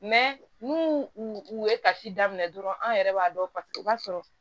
n'u u ye kasi daminɛ dɔrɔn an yɛrɛ b'a dɔn paseke u b'a sɔrɔ